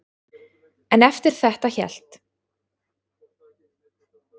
En eftir þetta hélt